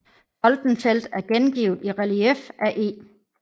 Soldenfeldt er gengivet i relief af E